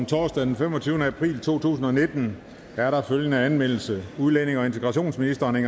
torsdag den femogtyvende april to tusind og nitten er der følgende anmeldelse udlændinge og integrationsministeren